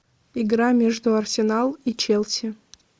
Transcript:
игра между арсенал и челси